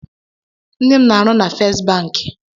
Nne m n'arụ na Fest banki.